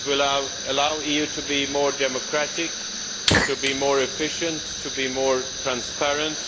It will allow you to be more democratic, to be more efficient, and to be more transparent.